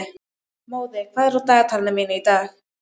Móði, hvað er á dagatalinu mínu í dag?